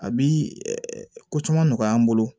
A bi ko caman nɔgɔya an bolo